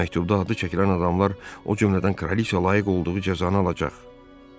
Məktubda adı çəkilən adamlar, o cümlədən kraliça layiq olduğu cəzanı alacaq.